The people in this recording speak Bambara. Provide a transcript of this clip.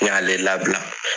N y'ale labila.